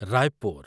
Raipur